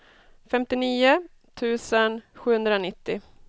femtionio tusen sjuhundranittio